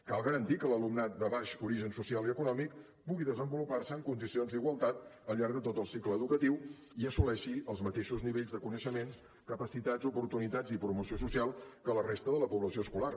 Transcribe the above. cal garantir que l’alumnat de baix origen social i econòmic pugui desenvolupar se en condicions d’igualtat al llarg de tot el cicle educatiu i assoleixi els mateixos nivells de coneixements capacitats oportunitats i promoció social que la resta de la població escolar